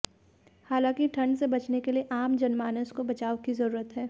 हालांकि ठंड से बचने के लिए आम जनमानस को बचाव की जरुरत है